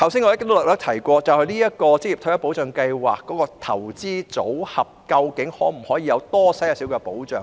我剛才問，職業退休計劃的投資組合可否提供多一點保障？